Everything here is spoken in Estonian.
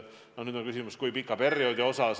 Nüüd on küsimus, kui pikalt.